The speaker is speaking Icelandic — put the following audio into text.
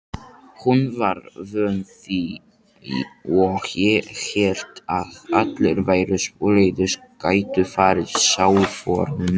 Hún var vön því og hélt að allir væru svoleiðis, gætu farið sálförum.